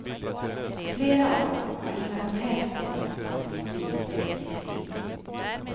Flera av dem har inga som helst planer på att bli politiker på livstid.